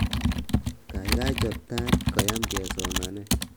kaigai chob tait koyam kesomanen